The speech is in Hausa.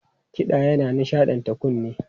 Kiɗa yana nishaɗanta kunne.